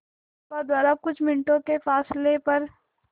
नौका द्वारा कुछ मिनटों के फासले पर